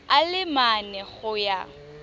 a le mane go ya